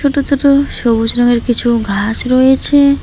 ছোট ছোট সবুজ রঙের কিছু ঘাস রয়েছে।